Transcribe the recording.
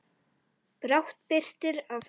Brátt birtir af degi.